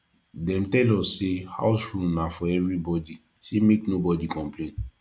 dem tell us sey house rule na for everybodi sey make nobodi complain